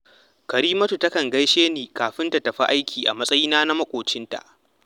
Karimatu takan gaishe ni kafin ta tafi aiki a matsayina na maƙocinta